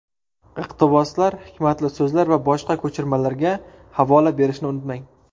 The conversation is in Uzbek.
Iqtiboslar, hikmatli so‘zlar va boshqa ko‘chirmalarga havola berishni unutmang.